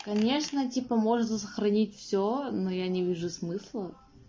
конечно типо можно сохранить все но я не вижу смысла